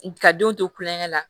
Ka denw to kulonkɛ la